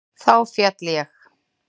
Þá féll ég.